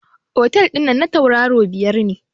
Otel dinnan na tauraro biyar ne.